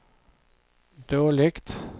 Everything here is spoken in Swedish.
dåligt